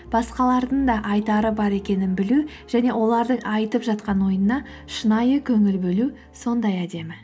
басқалардың да айтары бар екенін білу және олардың айтып жатқан ойына шынайы көңіл бөлу сондай әдемі